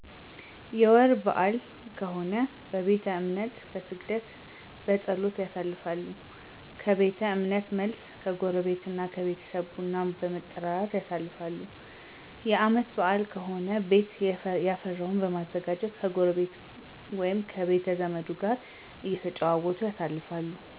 የወር በአል ከሆነ በቤተ እምነት በስግደት፣ በፀሎት፣ ያሳልፋሉ። ከቤተ እምነት መልስ ከጎረቤት ከቤተሰብ ቡና በመጠራራት ያሳልፋሉ። የአመት በአል ከሆነ ቤት የፈራውን በማዘጋጀት ከጎረቤ ወይም ከቤተዘመዱ ጋር እተጫወቱ ያሳልፋሉ።